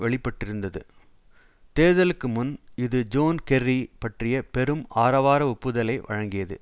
வெளிப்பட்டிருந்தது தேர்தலுக்கு முன் இது ஜோன் கெர்ரி பற்றிய பெரும் ஆரவார ஒப்புதலை வழங்கியது